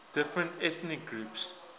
different ethnic groups